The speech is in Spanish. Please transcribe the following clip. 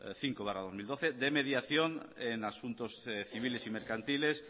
cinco barra dos mil doce de mediación en asuntos civiles y mercantiles